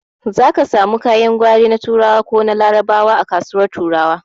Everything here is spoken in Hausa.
Zaki samu kayan gwari na turawa ko larabawa a kasuwar turawa